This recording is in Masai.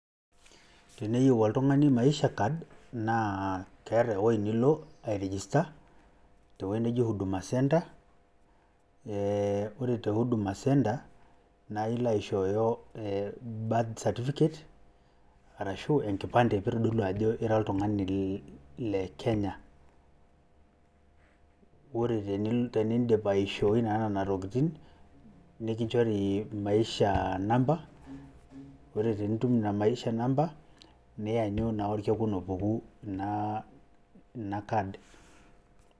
Teneyieu oltung'ani maisha card naa keeta ewueji nilo airejista tewueji neji huduma center ee ore tewueji e huduma center naa ailo aishooyo birth certificate arashu enkipande peyie itodolu ajo ira oltung'ani le Kenya. Ore teniindip aishooi naa nena tokiting' nikinchore maisha number, ore tenitum ina maisha number nianyu naa orkekun opuku ina card.